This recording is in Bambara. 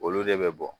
Olu de bɛ bɔ